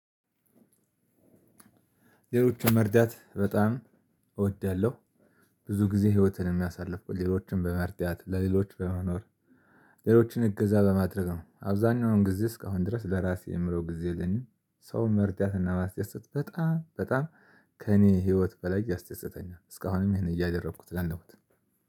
ሌሎችን መርዳት በጣም እወዳለሁ። ብዙ ጊዜ ህይወትን የሚያሳልፍ ሌሎችን በመርዳት፣ ለሌሎች በመኖር ሌሎችን እገዛ በማድረግ ነው። አብዛኛውን ጊዜ እስካሁን ድረስ ለራሴ የምለው ጊዜ የለኝም። ሰውን መርዳት እና ማስደሰት በጣም በጣም ከእኔ ህይወት በላይ ያስደስተኛ። እስካሁንም ይሄን ነው እያደረኩት ያለሁት።